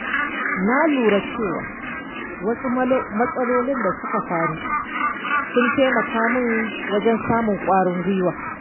Na lura cewa wasu matsaloli da suka faru sun taimaka min wajen samun ƙwarin gwiwa.